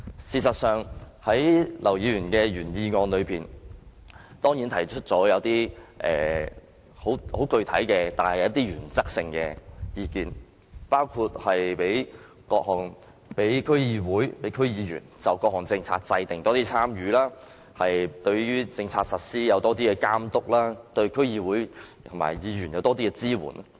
事實上，劉議員的原議案中，當然提出了一些很原則性的意見，包括讓區議員多參與各項政策的制訂及對政策的實施有更強的監督，以及政府對區議會和區議員提供更多支援。